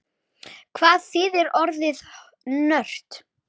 Hvað þýðir orðið nörd?